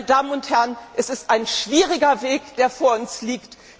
Meine Damen und Herren, es ist ein schwieriger Weg, der jetzt vor uns liegt!